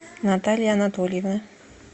натальи анатольевны